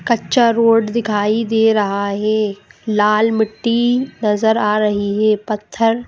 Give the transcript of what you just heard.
कच्चा रोड दिखाई दे रहा है लाल मिट्टी नजर आ रही है पत्थर --